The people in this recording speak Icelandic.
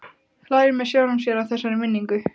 Hlær með sjálfum sér að þessari minningu.